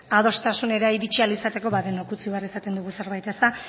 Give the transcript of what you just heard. adostasunera iritsi ahal izateko denok utzi behar izaten dugu zerbait eta